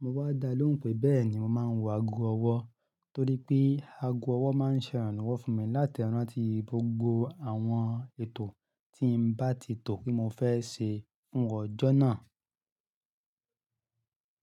Mo wá dá lóhùn pé bẹ́ẹ̀ ni mo máa ń wọ ago ọwọ́ torí pé ago ọwọ́ máa ń ṣe àrànlọ́wọ́ fún mi láti rántí gbogbo àwọn ètò tí n bá ti tọ pé mo fẹ́ ṣe fún ọjọ́ náà.